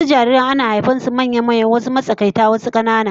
Wasu jariran ana haihuwar su manya-manya, wasu matsakaita wasu kuma 'yan kanana